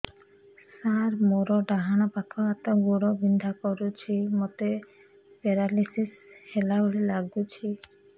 ସାର ମୋର ଡାହାଣ ପାଖ ହାତ ଗୋଡ଼ ବିନ୍ଧା କରୁଛି ମୋତେ ପେରାଲିଶିଶ ହେଲା ଭଳି ଲାଗୁଛି